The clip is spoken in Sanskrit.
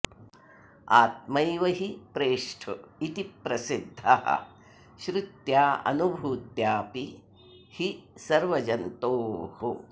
आत्मैव हि प्रेष्ठ इति प्रसिद्धः श्रुत्याऽनुभूत्याऽपि हि सर्वजन्तोः